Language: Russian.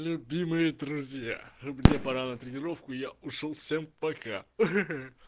любимые друзья мне пора на тренировку я ушёл всем пока ха-ха